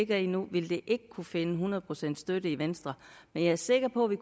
det har nu vil det ikke kunne finde hundrede procent støtte i venstre men jeg er sikker på at vi